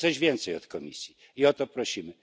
Chcemy czegoś więcej od Komisji i o to prosimy.